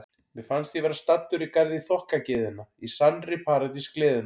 Mér fannst ég vera staddur í garði þokkagyðjanna, í sannri paradís gleðinnar.